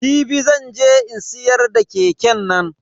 Jibi zan je in siyar da keke nan.